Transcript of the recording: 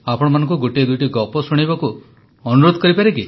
ଆପଣମାନଙ୍କୁ ଗୋଟିଏ ଦୁଇଟି ଗପ ଶୁଣାଇବାକୁ ଅନୁରୋଧ କରିପାରେ କି